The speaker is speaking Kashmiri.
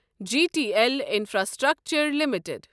G T L Infrastructure limited